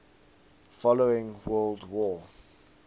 following world war